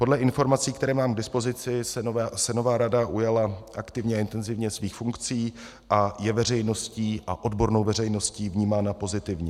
Podle informací, které mám k dispozici, se nová rada ujala aktivně a intenzivně svých funkcí a je veřejností a odbornou veřejností vnímána pozitivně.